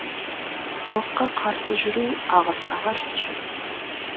халыққа қарсы жүру ағысқа қарсы жүзу